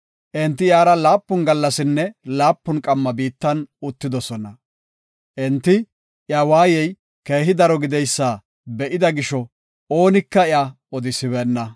Enti iyara laapun gallasinne laapun qamma biittan uttidosona. Enti iya waayey keehi daro gideysa be7ida gisho oonika iya odisibeenna.